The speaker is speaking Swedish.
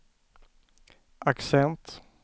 accent